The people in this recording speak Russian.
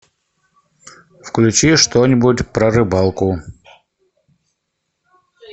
включи что нибудь про рыбалку